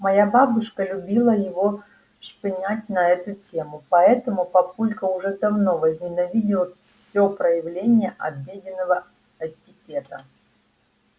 моя бабушка любила его шпынять на эту тему поэтому папулька уже давно возненавидел всё проявление обеденного этикета